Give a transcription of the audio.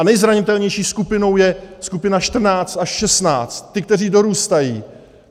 A nejzranitelnější skupinou je skupina 14 až 16, ti, kteří dorůstají.